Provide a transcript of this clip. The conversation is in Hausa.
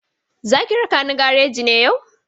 Za ki raka ni gareji ne yau?